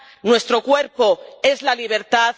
Nuestro cuerpo es la libertad.